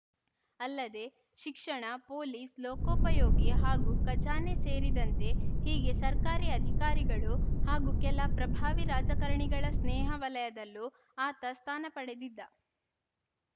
ಅಲ್ಲದೆ ಶಿಕ್ಷಣ ಪೊಲೀಸ್‌ ಲೋಕೋಪಯೋಗಿ ಹಾಗೂ ಖಜಾನೆ ಸೇರಿದಂತೆ ಹೀಗೆ ಸರ್ಕಾರಿ ಅಧಿಕಾರಿಗಳು ಹಾಗೂ ಕೆಲ ಪ್ರಭಾವಿ ರಾಜಕಾರಣಿಗಳ ಸ್ನೇಹ ವಲಯದಲ್ಲೂ ಆತ ಸ್ಥಾನ ಪಡೆದಿದ್ದ